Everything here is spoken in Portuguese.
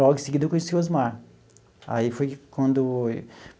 Logo em seguida, eu conheci o Osmar aí foi quando.